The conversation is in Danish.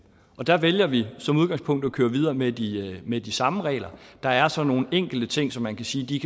og der vælger vi som udgangspunkt at køre videre med de med de samme regler der er så nogle enkelte ting som man kan sige